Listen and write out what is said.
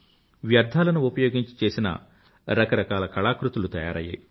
వ్యర్థాలను ఉపయోగించి చేసిన రకరకాల కళాకృతులు తయారయ్యాయి